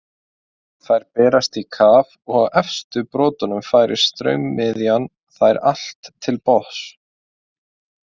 Þær berast í kaf, og á efstu brotunum færir straumiðan þær allt til botns.